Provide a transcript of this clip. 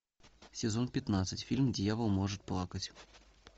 сезон пятнадцать фильм дьявол может плакать